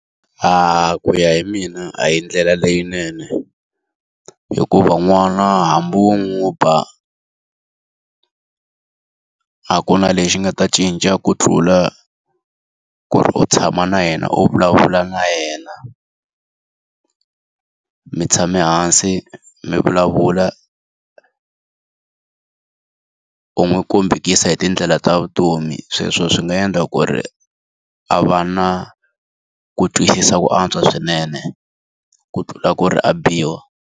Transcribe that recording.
Ku ya hi mina a hi ndlela leyinene. Hikuva n'wana hambi u n'wi ba a ku na lexi nga ta cinca ku tlula ku ri u tshama na yena u vulavula na yena. Mi tshame hansi mi vulavula u n'wi kombekisa hi tindlela ta vutomi, sweswo swi nga endla ku ri a va na ku twisisa ku antswa swinene ku tlula ku ri a biwa.